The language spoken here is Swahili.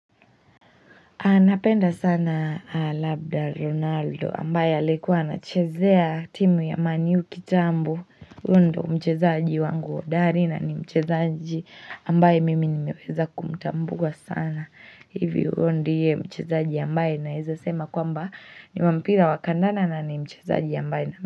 Napenda sana Labda Ronaldo ambaye alikuwa anachezea timu ya Man U kitambo Huyu ndio mchezaji wangu hodari na ni mchezaji ambaye mimi nimeweza kumtambua sana hivi huyo ndiye mchezaji ambaye naeza sema kwamba ni wa mpira wa kandanda na ni mchezaji ambaye na.